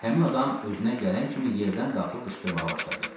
Həmin adam özünə gələn kimi yerdən qalxıb qışqırmağa başladı.